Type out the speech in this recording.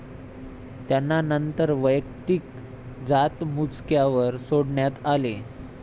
त्यांना नंतर वैयक्तिक जातमुचक्यावर सोडण्यात आले.